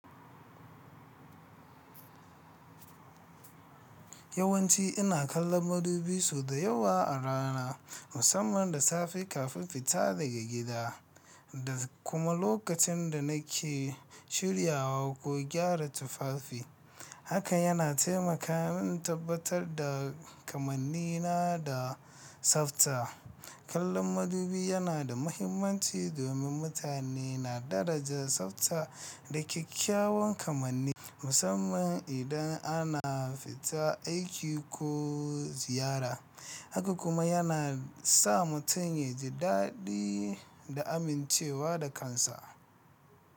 Yawanci ina kallon madubi sau da yawa a rana, musamman da safe kafin fita daga gida da kuma lokacin da nake shiryawa ko gyara tufafi. Haka yana taimaka min tabbatar da kamannina da tsafta. Kallon madubi yana da mahimmanci domin mutane na daraja tsafta da kyakkyawan kamanni, musamman idan ana fita aiki ko ziyara. Haka kuma yana sa mutum ya ji daɗi da amincewa da kansa.